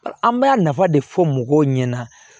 An b'a nafa de fɔ mɔgɔw ɲɛna